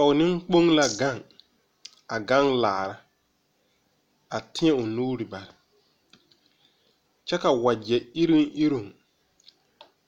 Poge neŋkpoŋ la gaŋ a gaŋ laara a tēɛ o nuure bare kyɛ ka wagyɛ iruŋiruŋ